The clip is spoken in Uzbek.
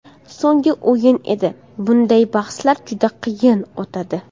So‘nggi o‘yin edi, bunday bahslar juda qiyin o‘tadi.